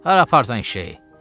Hara aparsan eşşəyi?